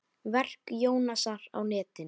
Verk Jónasar á netinu